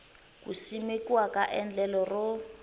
ku simekiwa ka endlelo ro